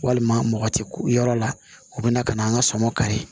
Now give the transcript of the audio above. Walima mɔgɔ ti ku yɔrɔ la u bɛna ka na an ka sɔmɔ kari